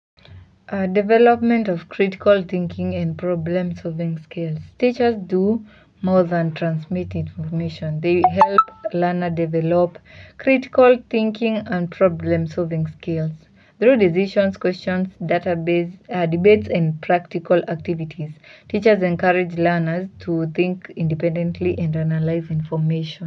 A development of critical thinking and problem solving skills. Teachers do more than transmit information. They help learner develop critical thinking and problem solving skills. Through decisions, questions, database, debates and practical activities, teachers encourage learners to think independently and analyze information.